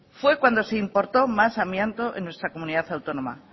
fue cuando se importó más amianto en nuestra comunidad autónoma